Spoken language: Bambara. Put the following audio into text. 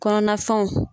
Kɔnɔna fɛnw